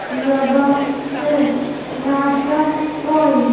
लगा है नाश्ता पॉइंट --